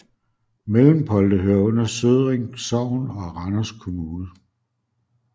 Mellempolde hører under Sødring Sogn og Randers Kommune